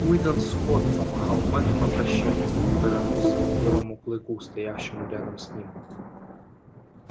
уидон скотт помахал мэтту на прощанье и повернулся к белому клыку стоявшему рядом с ним